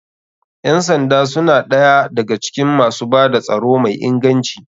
Ƴan sanda suna ɗaya da ga cikin masu bada tsaro mai inganci.